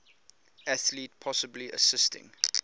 athlete possibly assisting